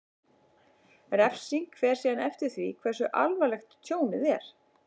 Refsing fer síðan eftir því hversu alvarlegt tjónið er.